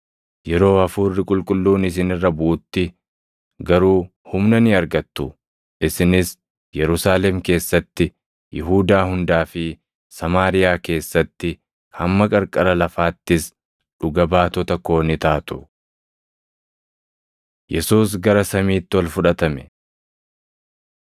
Yeroo hafuurri Qulqulluun isin irra buʼutti garuu humna ni argattu; isinis Yerusaalem keessatti, Yihuudaa hundaa fi Samaariyaa keessatti, hamma qarqara lafaattis dhuga baatota koo ni taatu.” Yesuus Gara Samiitti Ol Fudhatame